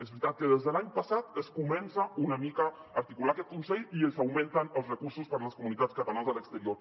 és veritat que des de l’any passat es comença una mica a articular aquest consell i ens augmenten els recursos per a les comunitats catalanes a l’exterior